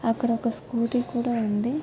అక్కడొక స్కూటీ కూడా వుంది .